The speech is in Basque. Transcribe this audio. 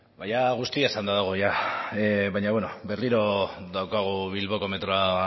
ba jada guztia esanda dago baina bueno berriro daukagu bilboko metroa